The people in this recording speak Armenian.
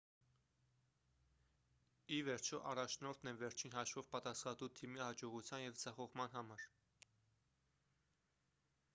ի վերջո առաջնորդն է վերջին հաշվով պատասխանատու թիմի հաջողության և ձախողման համար